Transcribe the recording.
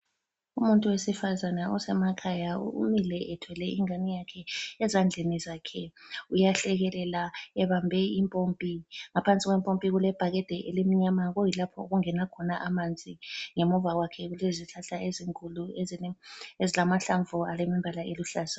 Umuntu wesifazane osemakhaya umile ethwele ingane yakhe ezandleni zakhe, uyahlekelela ebambe impompi, ngaphansi kwempompi kulebhakede elimnyama kuyilapho okungena khona amanzi, ngemuva kwakhe kulezihlahla ezinkulu ezilamahlamvu alembala eluhlaza.